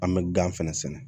An bɛ gan fɛnɛ sɛnɛ